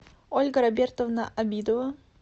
ольга робертовна абидова